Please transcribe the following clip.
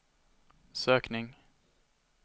sökning